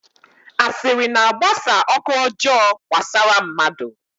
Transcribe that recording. Asịrị na-agbasa ọkụ ọjọọ gbasara mmadụ.